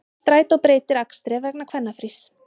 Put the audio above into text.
Strætó breytir akstri vegna kvennafrís